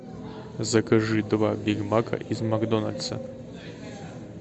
закажи два бигмака из макдональдса